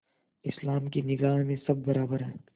इस्लाम की निगाह में सब बराबर हैं